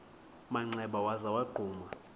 manxeba waza wagquma